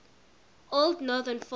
old northern folk